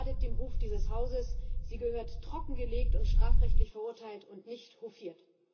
Sie schadet dem Ruf dieses Hauses, sie gehört trockengelegt und strafrechtlich verurteilt und nicht hofiert.